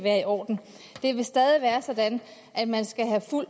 er i orden det vil stadig være sådan at man skal have fuld